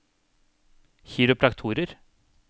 kiropraktorer